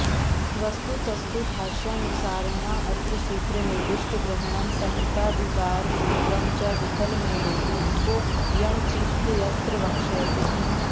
वस्तुतस्तु भाष्यानुसारेणाऽत्र सूत्रे निर्दिष्टग्रहणं संहिताधिकारसूत्रं च विफलमेवेति इको यणचीत्यत्र वक्ष्यते